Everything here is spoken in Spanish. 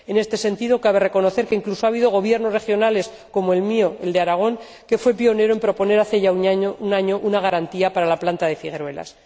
En este sentido, cabe reconocer que incluso ha habido Gobiernos regionales, como el mío, el de Aragón, que fue pionero en proponer, hace ya un año, una garantía para la planta de Figueruelas.